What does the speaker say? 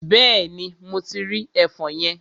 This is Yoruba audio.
Bẹ́ẹ̀ni, mo ti rí ẹfọn yẹn.